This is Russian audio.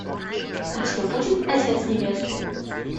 у тебя будет отец невесты